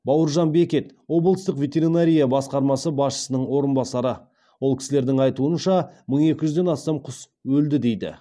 бауыржан бекет облыстық ветеринария басқармасы басшысының орынбасары ол кісілердің айтуынша мың екіжүзден астам құс өлді дейді